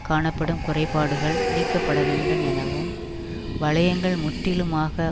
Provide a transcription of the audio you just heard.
காணப்படும் குறைபாடுகள் நீக்கப்படவேண்டும் எனவும் வளையங்கள் முற்றிலுமாக